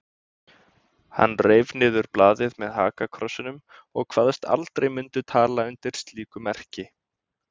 Hann reif niður blaðið með hakakrossinum og kvaðst aldrei mundu tala undir slíku merki.